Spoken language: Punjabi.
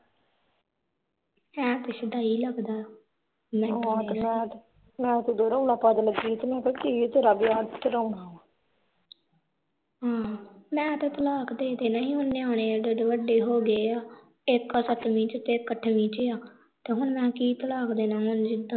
ਮੈਂ ਤੇ ਤਲਾਕ ਦੇ ਦੇਣਾ ਸੀ ਹੁਣ ਨਿਆਣੇ ਏਡੇ ਏਡੇ ਵੱਡੇ ਹੋ ਗਏ ਆ ਇਕ ਸੱਤਵੀ ਤੇ ਇਕ ਅੱਠਵੀ ਚ ਆ ਤੇ ਹੁਣ ਮਹਾ ਕੀ ਤਲਾਕ ਦੇਣਾ ਹੁਣ ਜਿਦਾ ਦੀ